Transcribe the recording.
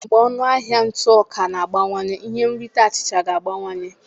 Mgbe ọnụ ahịa ntụ ọka na-abawanye ihe nrite achịcha ga-abawanye